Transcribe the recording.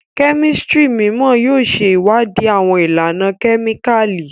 Kemistri mimọ yóò ṣe ìwádìí awọn ìlànà kemikali